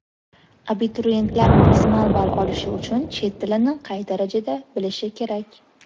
Abituriyentlar maksimal ball olishi uchun chet tilini qay darajada bilishi kerak?.